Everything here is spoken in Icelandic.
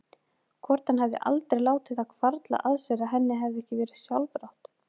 Hvort hann hefði aldrei látið það hvarfla að sér að henni hefði ekki verið sjálfrátt?